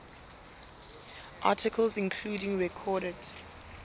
articles including recorded